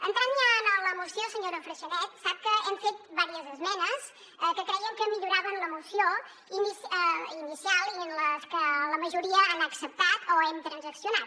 entrant ja en la moció senyora freixanet sap que hem fet diverses esmenes que crèiem que milloraven la moció inicial i que la majoria les han acceptat o hem transaccionat